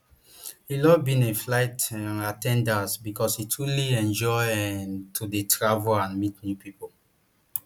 he love being a flight um at ten dant becos e truly enjoy um to dey travel and meet new pipo